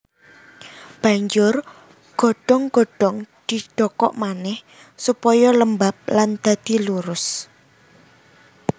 Banjur godhong godhong didokok manèh supaya lembab lan dadi lurus